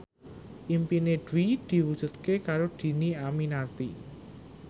impine Dwi diwujudke karo Dhini Aminarti